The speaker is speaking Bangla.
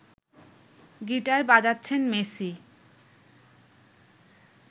গিটার বাজাচ্ছেন মেসি